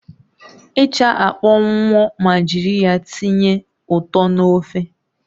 Ịsha akpọnwunwọ ma jiri ya tinye ụtọ na ofe